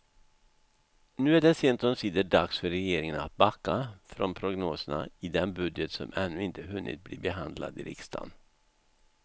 Nu är det sent omsider dags för regeringen att backa från prognoserna i den budget som ännu inte hunnit bli behandlad i riksdagen.